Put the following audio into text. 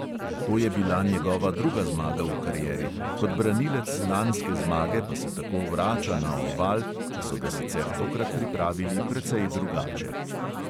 To je bila njegova druga zmaga v karieri, kot branilec lanske zmage pa se tako vrača na oval, ki so ga sicer tokrat pripravili precej drugače.